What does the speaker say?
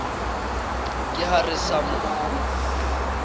ke ha re sa mo